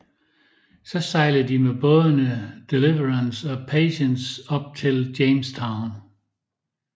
Så sejlede de med bådene Deliverance og Patience op til Jamestown